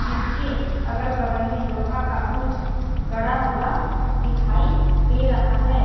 जिसके अगल-बगल में लोहा का कुछ गड़ा हुआ दिखाई दे रहा है।